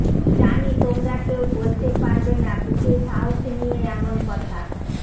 জানি তোমরা কেউ বলতে পারবে না বুকে সাহস নিয়ে এমন কথা